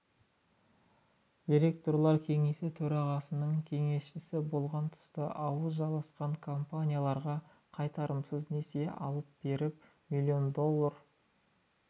директорлар кеңесі төрағасының кеңесшісі болған тұста ауыз жаласқан компанияларға қайтарымсыз несие алып беріп миллион доллар